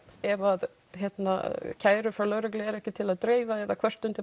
ef að kærur frá lögreglu eru ekki til að dreifa eða kvörtun til